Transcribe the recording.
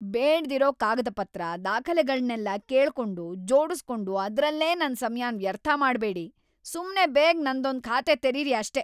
ಬೇಡ್ದಿರೋ ಕಾಗದಪತ್ರ, ದಾಖಲೆಗಳ್ನೆಲ್ಲ ಕೇಳ್ಕೊಂಡು, ಜೋಡುಸ್ಕೊಂಡು ಅದ್ರಲ್ಲೇ ನನ್‌ ಸಮಯನ ವ್ಯರ್ಥ ಮಾಡ್ಬೇಡಿ. ಸುಮ್ನೆ ಬೇಗ ನಂದೊಂದ್ ಖಾತೆ ತೆರೀರಿ ಅಷ್ಟೇ!